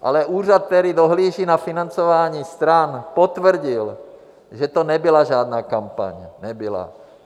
Ale úřad, který dohlíží na financování stran, potvrdil, že to nebyla žádná kampaň, nebyla.